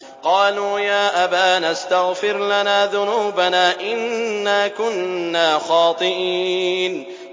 قَالُوا يَا أَبَانَا اسْتَغْفِرْ لَنَا ذُنُوبَنَا إِنَّا كُنَّا خَاطِئِينَ